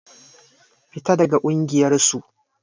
Fita daga ƙungiyar su!